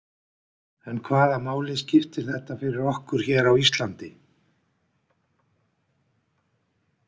En hvaða máli skiptir þetta fyrir okkur hér á Íslandi?